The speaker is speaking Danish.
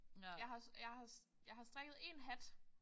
Jeg har også jeg har også jeg har strikket en hat